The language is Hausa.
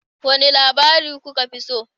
Wane labari kuka fi so?